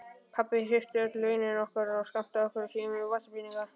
Pabbi hirti öll launin okkar og skammtaði okkur síðan vasapeninga.